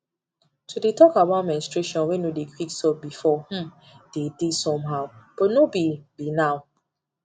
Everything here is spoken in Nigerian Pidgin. to dey talk about menstruation wey no dey quick stop before um dey somehow but no be be now